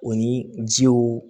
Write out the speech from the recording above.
O ni jiw